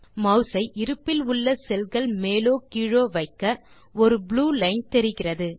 mass ஐ இருப்பில் உள்ள செல் கள் மேலோ கீழோ வைக்க ஒரு ப்ளூ லைன் தெரிகிறது